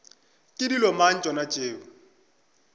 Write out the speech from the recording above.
ke dilo mang tšona tšeo